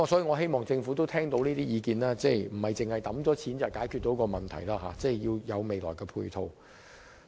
我希望政府能夠聽取意見，明白單靠撥款不足以解決問題，日後仍要有其他配套。